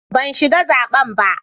Ban shiga zaben ba.